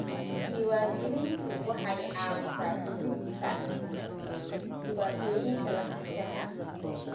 Diiwaangelintu waxay caawisaa dhimista dhibaatooyinka lahaanshaha.